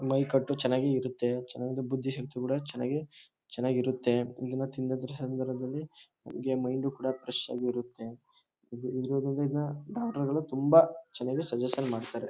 ಮೈಕಟ್ಟು ಚೆನಾಗೆ ಇರತ್ತೆ ಚೆನ್ನಗಿ ಬುದ್ಧಿಶಕ್ತಿ ಕೂಡ ಚೆನ್ನಗಿ ಚೆನ್ನಾಗಿ ಇರತ್ತೆ ದಿನ ತಿಂದ್ರೆ ಮೈಂಡ್ ಕೂಡ ಫ್ರೆಶ್ ಆಗಿ ಇರತ್ತೆ ಇದು ಇರೋದ್ರಿಂದ ಡಾಕ್ಟರ್ ಗಳು ಇದನ್ನ ತುಂಬ ಸಜೆಶನ್ ಮಾಡ್ತಾರೆ.